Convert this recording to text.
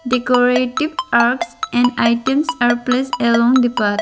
Decorative and items are placed along the path.